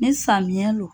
Ne samiya lo